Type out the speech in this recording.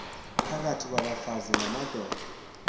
phakathi kwabafazi namadoda